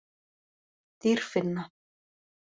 Dýrfinna